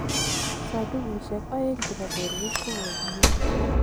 Sodukushek aeng chebo borwek kokokinyor.